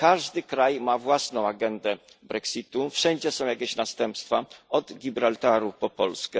Każdy kraj ma własną agendę Brexitu, wszędzie są jakieś następstwa, od Gibraltaru po Polskę.